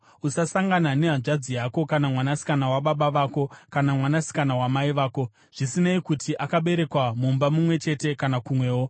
“ ‘Usasangana nehanzvadzi yako kana mwanasikana wababa vako kana mwanasikana wamai vako, zvisinei kuti akaberekwa mumba mumwe chete kana kumwewo.